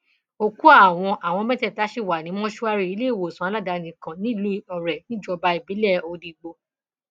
òkú àwọn àwọn mẹtẹẹta sì wà ní mọṣúárì iléewòsàn aládàáni kan nílùú ọrẹ níjọba ìbílẹ odigbo